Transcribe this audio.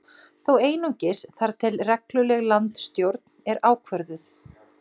Þó einungis þar til að regluleg landsstjórn er ákvörðuð